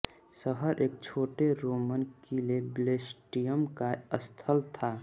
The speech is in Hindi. शहर एक छोटे रोमन किले ब्लेस्टियम का स्थल था